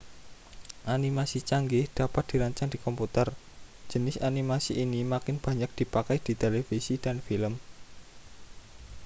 animasi canggih dapat dirancang di komputer jenis animasi ini makin banyak dipakai di televisi dan film